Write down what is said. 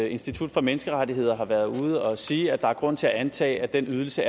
institut for menneskerettigheder har været ude og sige at der er grund til at antage at den ydelse